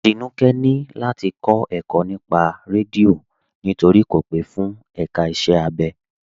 Tínúkẹ̀ ni láti kọ ẹ̀kọ̀ nípà rẹ́díọ̀ nítorí kò pe fún èká ìṣẹ̀ abẹ.